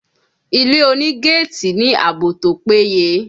Ilé oní gétìì ní àbò tó pé ye.